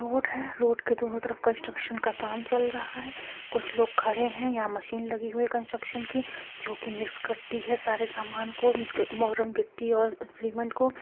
Road है road के दोनों तरफ कंस्ट्रक्शन का काम चल रहा है कुछ लोग खड़े हैं यहाँ मशीन लगी हुई है कंस्ट्रक्शन की जो कि मिक्स करती है सारे सामान को गिट्टी और सीमेंट को।